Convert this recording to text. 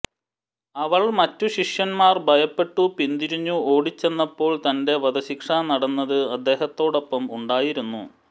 അവൾ മറ്റു ശിഷ്യന്മാർ ഭയപ്പെട്ടു പിന്തിരിഞ്ഞു ഓടിച്ചെന്നപ്പോൾ തന്റെ വധശിക്ഷ നടന്നത് അദ്ദേഹത്തോടൊപ്പം ഉണ്ടായിരുന്നു